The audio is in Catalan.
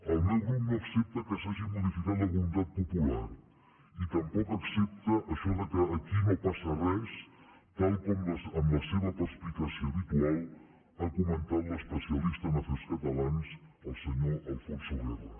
el meu grup no accepta que s’hagi modificat la voluntat popular i tampoc accepta això que aquí no passa res tal com amb la seva perspicàcia habitual ha comentat l’especialista en afers catalans el senyor alfonso guerra